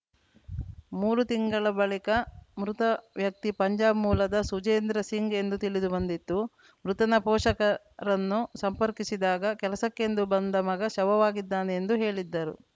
ಮೂರು ತಿಂಗಳ ಬಳಿಕ ಮೃತ ವ್ಯಕ್ತಿ ಪಂಜಾಬ್‌ ಮೂಲದ ಸುಜೇಂದ್ರ ಸಿಂಗ್‌ ಎಂದು ತಿಳಿದುಬಂದಿತ್ತು ಮೃತನ ಪೋಷಕರನ್ನು ಸಂಪರ್ಕಿಸಿದಾಗ ಕೆಲಸಕ್ಕೆಂದು ಬಂದ ಮಗ ಶವವಾಗಿದ್ದಾನೆ ಎಂದು ಹೇಳಿದ್ದರು